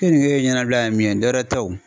Keninge ye ɲɛnabila la min ye dɔ wɛrɛ tɛ wo.